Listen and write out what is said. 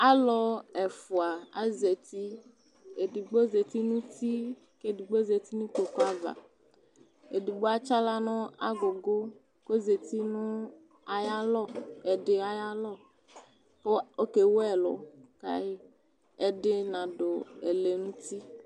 Alʋ ɛfʋa azati : edigbo zati n'uti , edigbo zati n'ikpoku ava ; edigbo atsɩaɣla nʋ agʋgʋ k'ozati nʋ ay'alɔ ɛdɩ ay'alɔkʋ okewu ɛlʋ kayɩ Ɛdɩ nadʋ ɛlɛnti